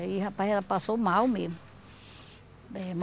Aí, rapaz, ela passou mal mesmo. Eh